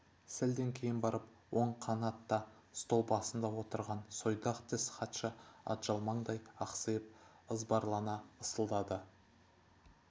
сәлден кейін барып оң қанатта стол басында отырған сойдақ тіс хатшы атжалмаңдай ақсиып ызбарлана ысылдады